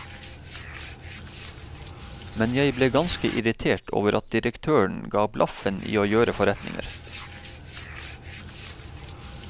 Men jeg ble ganske irritert over at direktøren gav blaffen i å gjøre forretninger.